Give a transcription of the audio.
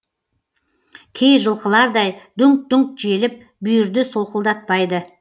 кей жылқылардай дүңк дүңк желіп бүйірді солқылдатпайды